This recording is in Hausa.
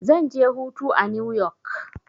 Zan je hutu a new yok.